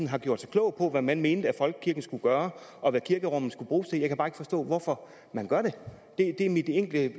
har gjort sig klog på hvad man mente at folkekirken skulle gøre og hvad kirkerummet skulle bruges til jeg kan bare ikke forstå hvorfor man gør det det er mit enkle